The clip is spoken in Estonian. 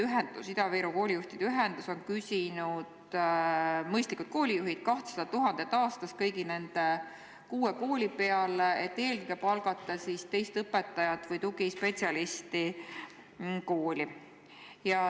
Ida-Viru Koolijuhtide Ühendus on küsinud mõistlikult 200 000 eurot aastas kõigi nende kuue kooli peale, et eelkõige palgata kooli teist õpetajat või tugispetsialisti.